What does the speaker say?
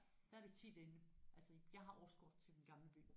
Der er vi tit inde altså jeg har årskort til Den Gamle By